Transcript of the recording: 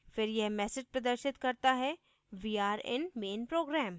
फिर यह message प्रदर्शित करता है we are in main program